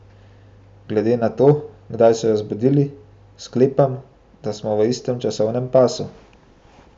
Glede na to, kdaj so jo zbudili, sklepam, da smo v istem časovnem pasu.